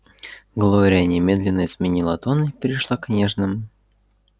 глория немедленно изменила тон и перешла к нежным